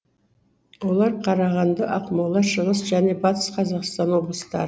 олар қарағанды ақмола шығыс және батыс қазақстан облыстары